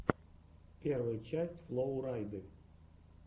первая часть флоу райды